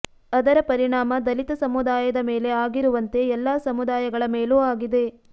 ಅದರ ಪರಿಣಾಮ ದಲಿತ ಸಮುದಾಯದ ಮೇಲೆ ಆಗಿರುವಂತೆ ಎಲ್ಲ ಸಮುದಾಯಗಳ ಮೇಲೂ ಆಗಿದೆ